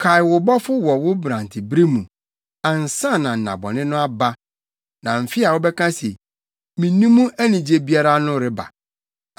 Kae wo Bɔfo wɔ wo mmerantebere mu, ansa na nnabɔne no aba na mfe a wobɛka se, “Minni mu anigye biara” no reba,